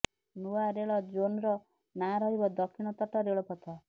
ନୂଆ ରେଳ ଜୋନ୍ର ନାଁ ରହିବ ଦକ୍ଷିଣ ତଟ ରେଳପଥ